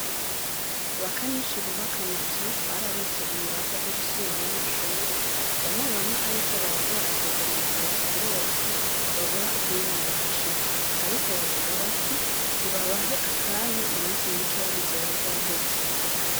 Abakanishi bubaka amazu, bararonse ibiraka vyo gusubiramwo amashure, bamwe bamwe ariko, bariko barakwega amaguru kubera ko babura ukungene bahashika, ariko bavuga bati nibabahe akanya, mu minsi mikeya bizoba vyaheze.